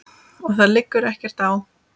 Og það liggur ekkert á.